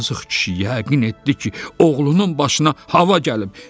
Yazıq kişi yəqin etdi ki, oğlunun başına hava gəlib.